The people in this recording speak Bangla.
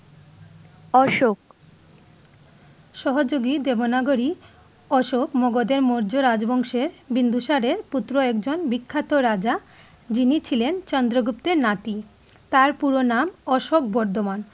অশোক সহযোগী দেব নাগরী, অশোক মগধের মৌর্য রাজবংশে বিন্দুসারের পুত্র এক জন বিখ্যাত রাজা যিনি ছিলেন চন্দ্রগুপ্তের নাতি । তার পুরো নাম অশোক বর্ধমান